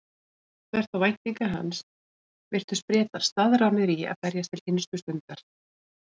Þvert á væntingar hans virtust Bretar staðráðnir í að berjast til hinstu stundar.